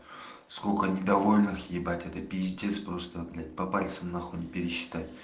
сколько недовольных ебать это пиздец просто блядь по пальцам на хуй не пересчитать